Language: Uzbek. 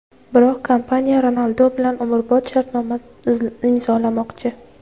Biroq kompaniya Ronaldu bilan umrbod shartnoma imzolamoqchi.